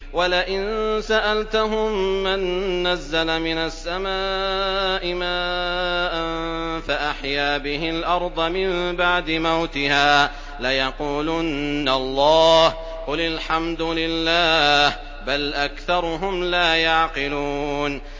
وَلَئِن سَأَلْتَهُم مَّن نَّزَّلَ مِنَ السَّمَاءِ مَاءً فَأَحْيَا بِهِ الْأَرْضَ مِن بَعْدِ مَوْتِهَا لَيَقُولُنَّ اللَّهُ ۚ قُلِ الْحَمْدُ لِلَّهِ ۚ بَلْ أَكْثَرُهُمْ لَا يَعْقِلُونَ